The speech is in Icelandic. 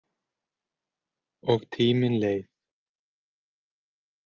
Og tíminn leið.